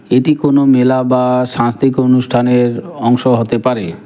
এটি কোনো মেলা বা সাংস্তিক অনুষ্ঠানের অংশ হতে পারে।